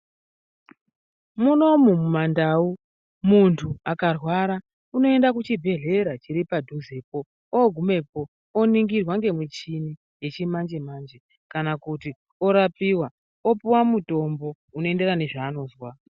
Munomu mumandau, muntu akarwara, unoenda kuchibhedhlera chiri padhuzepo. Ogumepo oningirwa ngemuchini yechimanje-manje, kana kuti orapiwa, opuwa mitombo ,unoenderana nezvaanozwa.